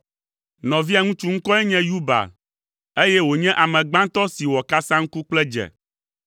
Nɔvia ŋutsu ŋkɔe nye Yubal, eye wònye ame gbãtɔ si wɔ kasaŋku kple dze.